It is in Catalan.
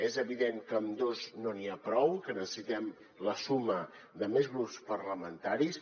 és evident que amb dos no n’hi ha prou que necessitem la suma de més grups parlamentaris